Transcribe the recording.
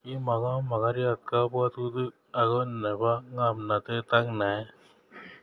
Kimuko mogoriotab kabwatutik ako nebo ngomnatet ak naet